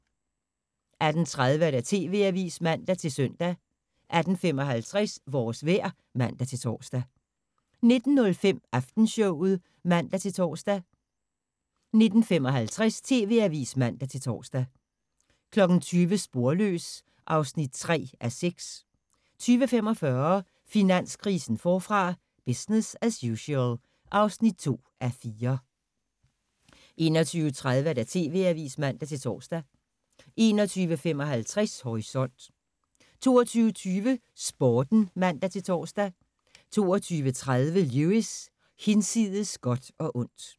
18:30: TV-avisen (man-søn) 18:55: Vores vejr (man-tor) 19:05: Aftenshowet (man-tor) 19:55: TV-avisen (man-tor) 20:00: Sporløs (3:6) 20:45: Finanskrisen forfra – business as usual (2:4) 21:30: TV-avisen (man-tor) 21:55: Horisont 22:20: Sporten (man-tor) 22:30: Lewis: Hinsides godt og ondt